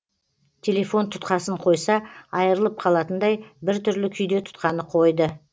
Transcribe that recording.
телефон тұтқасын қойса айырылып қалатындай біртүрлі күйде тұтқаны қойды